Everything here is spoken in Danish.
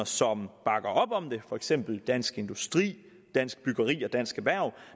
som bakker op om det for eksempel dansk industri dansk byggeri og dansk erhverv